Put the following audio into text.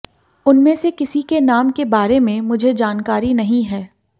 उनमे से किसी के नाम के बारे में मुझे जानकारी नहीं है